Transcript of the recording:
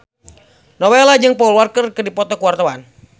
Nowela jeung Paul Walker keur dipoto ku wartawan